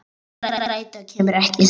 Strætó kemur ekki strax.